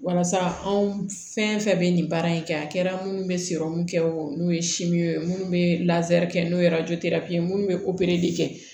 Walasa anw fɛn fɛn bɛ nin baara in kɛ a kɛra minnu bɛ n'u ye minnu bɛ kɛ n'o ye minnu bɛ kɛ